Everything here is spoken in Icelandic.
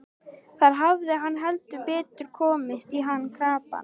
Þar hafði hann heldur betur komist í hann krappan.